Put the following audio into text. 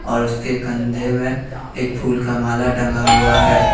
और उसके कंधे में एक फूल का माला टंगा हुआ है।